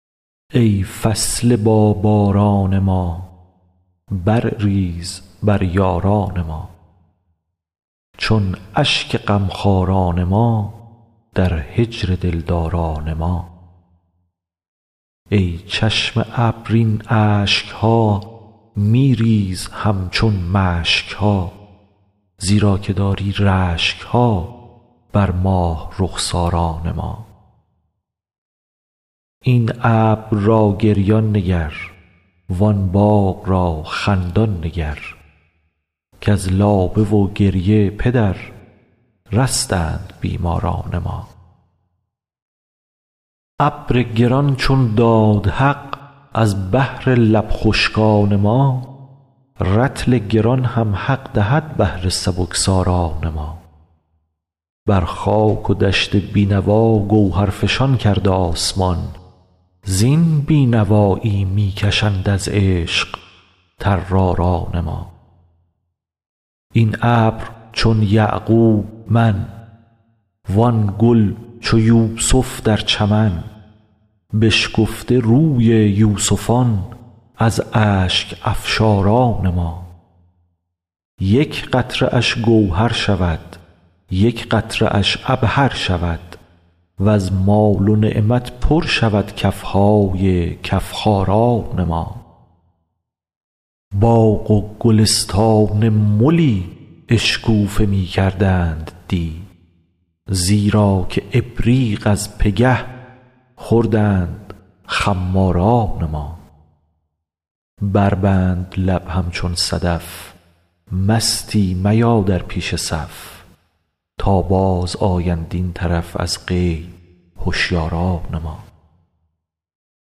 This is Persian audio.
ای فصل باباران ما برریز بر یاران ما چون اشک غمخواران ما در هجر دلداران ما ای چشم ابر این اشک ها می ریز همچون مشک ها زیرا که داری رشک ها بر ماه رخساران ما این ابر را گریان نگر وان باغ را خندان نگر کز لابه و گریه پدر رستند بیماران ما ابر گران چون داد حق از بهر لب خشکان ما رطل گران هم حق دهد بهر سبکساران ما بر خاک و دشت بی نوا گوهرفشان کرد آسمان زین بی نوایی می کشند از عشق طراران ما این ابر چون یعقوب من وان گل چو یوسف در چمن بشکفته روی یوسفان از اشک افشاران ما یک قطره اش گوهر شود یک قطره اش عبهر شود وز مال و نعمت پر شود کف های کف خاران ما باغ و گلستان ملی اشکوفه می کردند دی زیرا که ابریق از پگه خوردند خماران ما بربند لب همچون صدف مستی میا در پیش صف تا بازآیند این طرف از غیب هشیاران ما